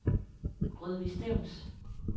Rødvig Stevns